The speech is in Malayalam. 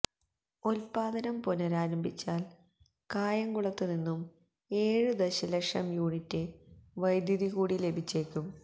ഉത്പാദനം പുനരാരംഭിച്ചാല് കായംകുളത്ത് നിന്നും ഏഴ് ദശലക്ഷം യൂണിറ്റ് വൈദ്യുതി കൂടി ലഭിച്ചേക്കും